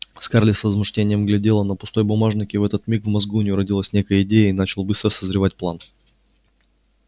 скарлетт с возмущением глядела на пустой бумажник и в этот миг в мозгу у неё родилась некая идея и начал быстро созревать план